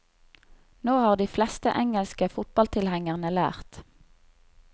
Nå har de fleste engelske fotballtilhengerne lært.